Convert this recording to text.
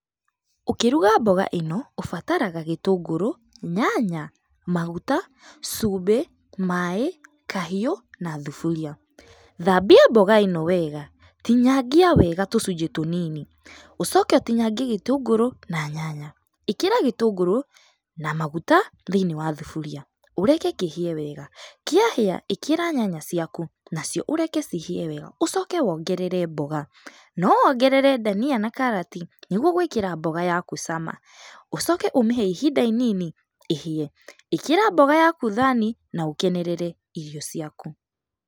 Ũkĩruga mboga ĩno, ũbataraga gĩtũngũrũ, nyanya, maguta, cumbĩ, maaĩ, kahiũ na thuburia. Thambia mboga ĩno wega tinyangia wega tũcũnjĩ tũnini, ũcoke ũtinyangie gĩtũngũrũ na nyanya. ĩkĩra gĩtũngũrũ na maguta thĩinĩ wa thuburia, ũreke kĩhĩe wega. Kĩahĩa, ĩkĩra nyanya ciakũ, na cio ũreke cihĩe wega, ucoke wongerere mboga. No wongerere ndania na karati nĩguo gwĩkĩra mboga yaku cama. Ũcoke ũmĩhe ihinda inini ĩhĩe. ĩkĩra mboga yaku thaani na ũkenerere irio ciaku.